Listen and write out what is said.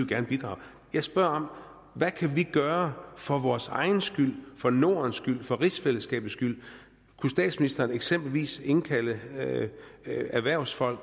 vil bidrage jeg spørger hvad kan vi gøre for vores egen skyld for nordens skyld for rigsfællesskabets skyld kunne statsministeren eksempelvis indkalde erhvervsfolk